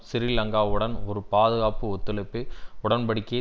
சிறீலங்காவுடன் ஒரு பாதுகாப்பு ஒத்துழைப்பு உடன்படிக்கையை